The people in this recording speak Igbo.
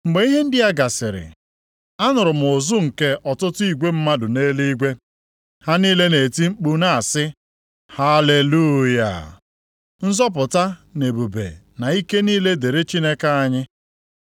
Mgbe ihe ndị a gasịrị, anụrụ m ụzụ nke ọtụtụ igwe mmadụ nʼeluigwe. Ha niile na-eti mkpu na-asị, “Haleluya! Nzọpụta, na ebube na ike niile dịrị Chineke anyị.